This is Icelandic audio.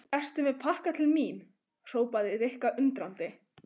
Ertu með pakka til mín? hrópaði Rikka undrandi.